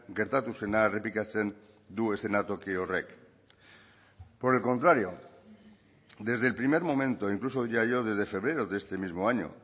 gertatu zena errepikatzen du eszenatoki horrek por el contrario desde el primer momento incluso diría yo desde febrero de este mismo año